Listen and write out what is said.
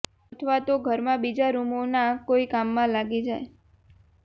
અથવા તો ઘરમાં બીજા રૂમોના કોઇ કામમાં લાગી જાય